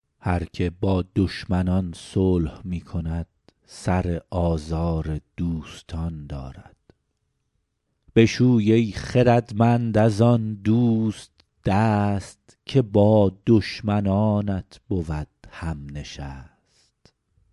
هر که با دشمنان صلح می کند سر آزار دوستان دارد بشوی ای خردمند از آن دوست دست که با دشمنانت بود هم نشست